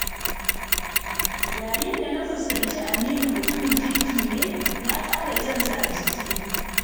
Yayin da na fuskanci Aminu mutumin kirki ne, na ƙara jansa a jiki.